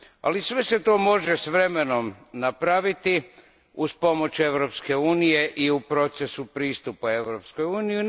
Ali sve se to može s vremenom napraviti uz pomoć Europske unije i u procesu pristupa Europskoj uniji.